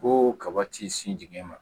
Ko kaba ti sin dingɛ ma